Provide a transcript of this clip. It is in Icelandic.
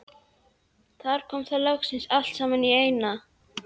Þar koma þær loksins allar saman í eina.